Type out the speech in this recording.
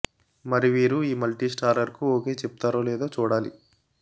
మరి వీరు ఈ మల్టీ స్టారర్ కు ఓకే చెప్తారో లేదో చూడాలి